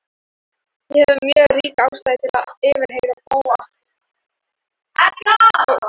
Ég hef mjög ríka ástæðu til að yfirheyra Bóas.